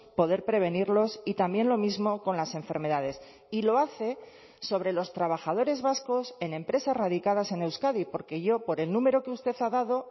poder prevenirlos y también lo mismo con las enfermedades y lo hace sobre los trabajadores vascos en empresas radicadas en euskadi porque yo por el número que usted ha dado